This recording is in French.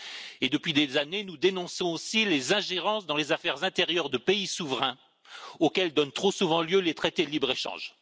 Et depuis des années, nous dénonçons aussi les ingérences dans les affaires intérieures de pays souverains auxquelles donnent trop souvent lieu les traités de libre échange.